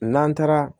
N'an taara